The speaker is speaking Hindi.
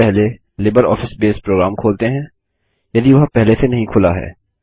सबसे पहले लिबरऑफिस बेस प्रोग्राम खोलते हैं यदि वह पहले से नही खुला है